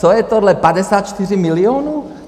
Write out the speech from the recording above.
Co je tohle, 54 milionů?